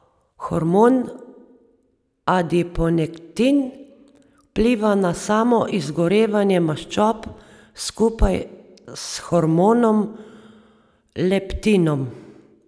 Hormon adiponektin vpliva na samo izgorevanje maščob skupaj s hormonom leptinom.